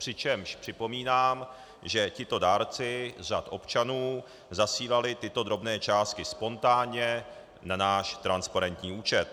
Přičemž připomínám, že tito dárci z řad občanů zasílali tyto drobné částky spontánně na náš transparentní účet.